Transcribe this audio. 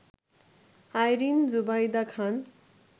Irin Zubaida Khan